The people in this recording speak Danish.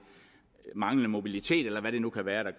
manglende mobilitet eller hvad det nu kan være der